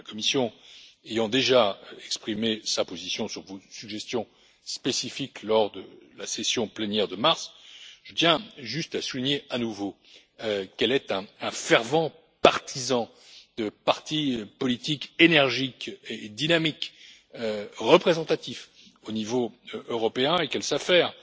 La Commission ayant déjà exprimé sa position sur vos suggestions spécifiques lors de la plénière du mois de mars, je tiens juste à souligner à nouveau qu'elle est un fervent partisan de partis politiques énergiques et dynamiques, représentatifs au niveau européen, et qu'elle s'affaire